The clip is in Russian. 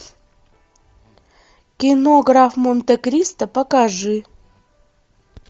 кино граф монте кристо покажи